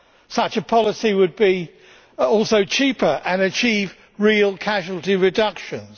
Such a policy would also be cheaper and would achieve real casualty reductions.